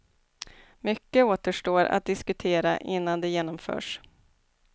Mycket återstår att diskutera innan det genomförs.